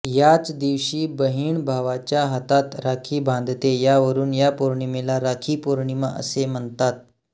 याच दिवशी बहीण भावाच्या हातात राखी बांधते त्यावरून या पौर्णिमेला राखी पौर्णिमा असे म्हणतात